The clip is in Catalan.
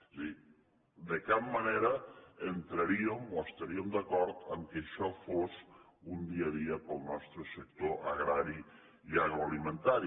és a dir de cap manera entraríem o estaríem d’acord que això fos un dia a dia per al nostre sector agrari i agroalimentari